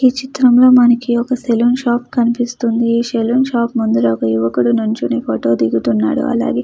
ఈ చిత్రంలోని మనకు ఒక సెలూన్ షాప్ కనిపిస్తుంది. ఈ సెలూన్ షాప్ ముందర ఒక యువకుడు నించొనీ ఫోటో దిగుతున్నాడు. అలాగే--